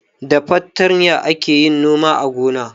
Da fartanya ake yin noma a gona.